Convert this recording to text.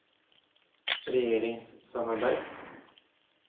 regjeringssamarbeid